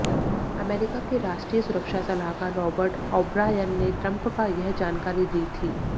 America के राष्ट्रीय सुरक्षा सलाहकार राॅबर्ट ओब्रायन ने ट्रंप का यह जानकारी दी थी